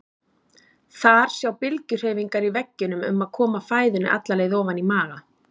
Þar sjá bylgjuhreyfingar í veggjunum um að koma fæðunni alla leið ofan í maga.